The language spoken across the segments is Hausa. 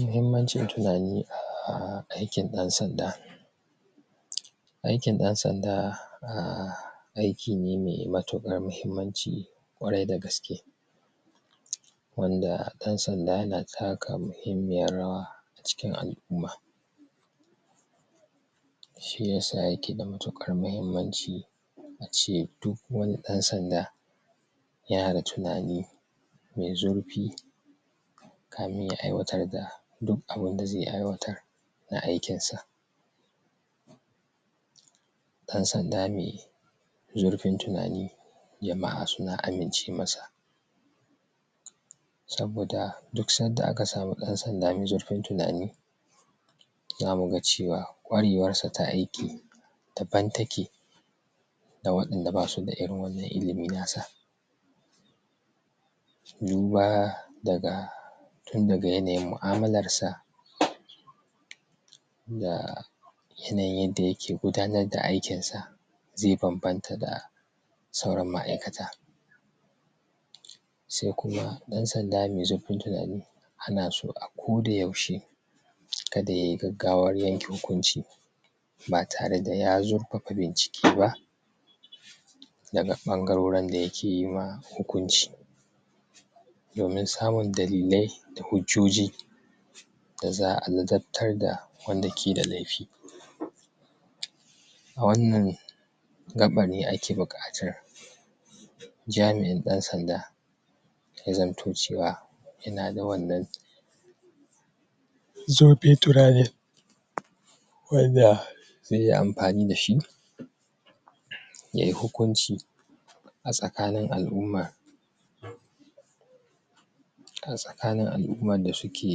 Muhimman cin tunani a aikin ɗan sanda. Aikin ɗan sanda um aiki ne mai matuƙar muhimmaci ƙwarai da gaske, wanda ɗan sanda yana taka muhimmiyar rawa acikin al’umma. Shiyasa yake da matuƙar muhimmaci ace duk wani ɗan sanda yana da tunani mai zurfi kamin ya aiwatar da duk abun da zai aiwatar na aikin sa. Ɗan sanda mai zurfin tunani jama'a suna amince masa saboda duk sanda aka samu ɗan sanda mai zurfin tunani zamuga cewa ƙwarewarsa ta aiki daban take da waɗanda basu da irin wannan ilimi nasa, yiwuwa daga tundaga yanayin mu'amularsa da yanayin yadda yake gudanar da aikin sa zai banbanta da sauran ma'aikata. Sai kuma ɗan sanda mai zurfin tunani anaso akoda yaushe kada yayi gaggawar yanke hukunci ba tare da ya zurfafa bincike ba daga ɓangarorin dayake yima hukunci domin samun dalilai da hujjoji da za'a ladabtar da wanda keda laifi. A wannan gaɓar ne ake bukatar jami'in ɗan sanda ya zamto cewa yana da wannan zurfin tunanin wanda zaiyi amfani dashi yayi hukunci a tsakinin al’umma a tsakin al’umman da suke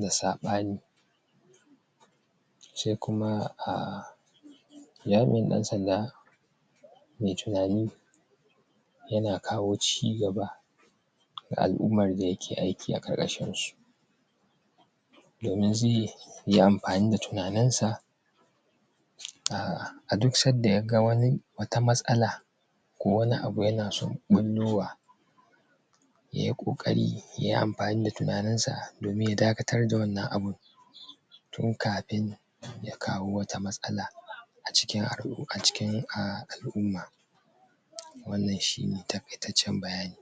da saɓani sai kuma um jami'in ɗan sanda mai tunani yana kawo cigaba ga al'ummar dayake aiki a ƙarkashinsu domin zaiyi amfani da tunanin sa um a duk sanda yaga wani wata matsala ko wani abu yana son ɓullowa yayi ƙoƙari yayi amfani da tunaninsa domin ya dakatar da wannan abun tun kafin ya kawo wata matsala a cikin al’u a cikin al’umma wannan shine taƙaitaccen bayani.